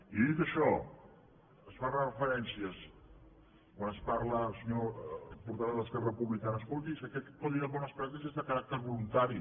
i dit això hi fa referència quan ens parla el senyor portaveu d’esquerra republicana escolti és que aquest codi de bones pràctiques és de caràcter voluntari